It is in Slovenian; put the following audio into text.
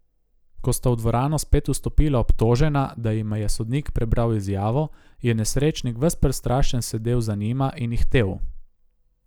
Ko sta v dvorano spet vstopila obtožena, da jima je sodnik prebral izjavo, je nesrečnik ves prestrašen sedel za njima in ihtel.